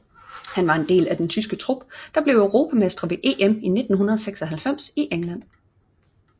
Han var en del af den tyske trup der blev europamestre ved EM i 1996 i England